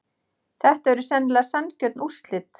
Þetta eru sennilega sanngjörn úrslit.